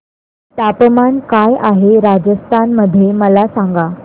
तापमान काय आहे राजस्थान मध्ये मला सांगा